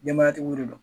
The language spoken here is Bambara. Denbayatigiw de don